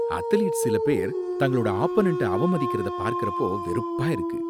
athletes சில பேர் தங்களோட ஆப்பனன்ட அவமதிக்கிறத பார்க்கிறப்போ வெறுப்பா இருக்கு